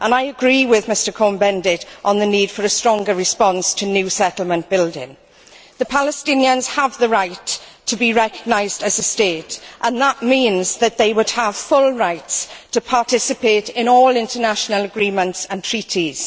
I agree with Mr Cohn Bendit on the need for a stronger response to new settlement building. The Palestinians have the right to be recognised as a state and that means that they would have full rights to participate in all international agreements and treaties.